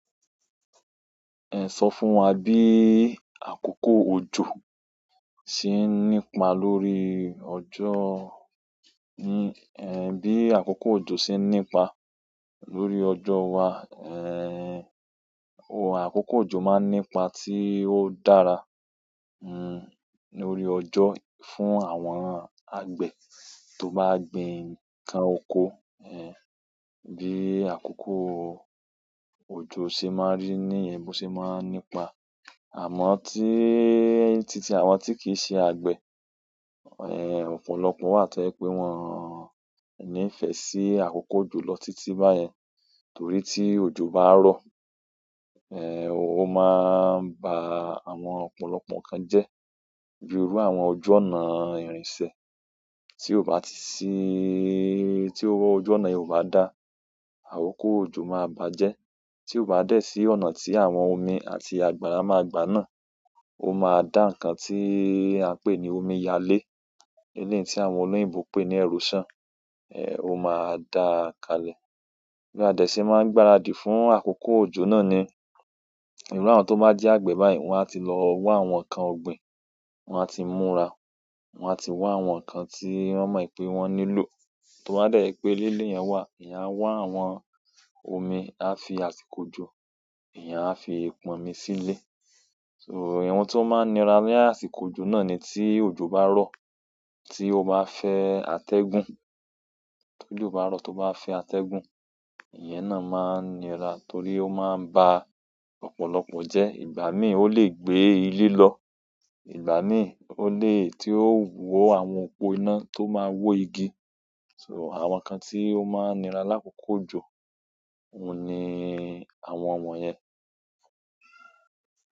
Ẹ sọ fún wa bí àkókò òjò ṣe ń nípa lórí ọjọ́, bí àkókò òjò ṣe ń nípa lórí ọjọ́ wa àkókò òjò máa ń nípa tí ó dára lórí ọjọ́ fún àwọn àgbẹ̀ tó bá gbin ǹkan oko, bí àkókò òjò ṣe máa ń rí níyen bo ṣe máa ń nípa, àmọ́ tí titi àwọn tí kì í ṣe àgbẹ̀, ọ̀pọ̀lọpọ̀ wà tó jẹ pé wọ́n ò nífẹ́ sí àkókò òjò lọ títí báyẹn. Torí tí òjò bá rọ̀, ó máa ń ba àwọn ọ̀pọ̀lọpọ̀ ǹkan jẹ́, bíi irú àwọn ojú ọ̀nà ìrìnsẹ̀ tí ó bá ti síí, ti ojú ọ̀nà yen ó bá da, àkókò òjò máa bàjẹ́. Tí ó bá dẹ̀ sí ọ̀nà tí àwọn omi àti àgbàrá máa gbà náà, ó máa dá ǹkan tí a ń pè ní omiyalé, eleyii tí àwọn olúyìnbò ń pè ní erosion, ó máa dáa kalẹ̀. Bí a dẹ̀ ṣe máa ń gbaradì fún àkókò òjò náà ni, ìru àwọn tó bá jẹ́ àgbẹ̀ báyìí, wọn á ti lọ wa àwọn ǹkan ọ̀gbìn, wọn á ti múra, wọn á ti wa àwọn ǹkan tí wọ́n mọ̀ pé wọ́n nílò. Toba dẹ̀ jẹ pé leyan wà, èèyàn á wa àwọn omi, a fi àsìkò ojo, èèyàn á fi pan omi sílé. So ohun tó máa ń nira ní àsìkò òjò náà ni tí òjò bá rọ̀, tí ó bá fẹ́ atẹ́gùn, tí òjò bá rọ̀, tí ó bá fẹ́ atẹ́gùn, iyẹn náà máa ń nira torí ó máa ń ba ọ̀pọ̀lọpọ̀ jẹ́. Ìgbà míì ó lè gbé ilé lọ, ìgbà míì ó lè tí ó wọ àwọn òpó iná tó máa wó igi. So àwọn ǹkan tí ó máa ń nira l'àkókò òjò, òun ni àwọn wọ̀nyẹn.